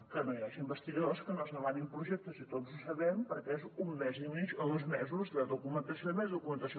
que no hi hagi investigadors que no es demanin projectes i tots ho sabem perquè és un mes i mig o dos mesos de documentació i més documentació